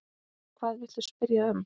Hvað viltu spyrja um?